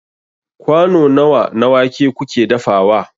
kwano nawa na wake kuke dafawa